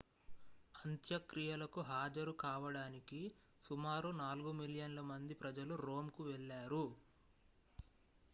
అంత్యక్రియలకు హాజరు కావడానికి సుమారు నాలుగు మిలియన్ల మంది ప్రజలు రోమ్కు వెళ్లారు